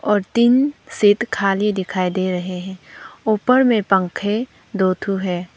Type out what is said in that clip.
और तीन सीट खाली दिखाई दे रहे ऊपर में पंखे दो ठो है।